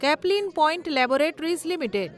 Caplin Point laboratories limited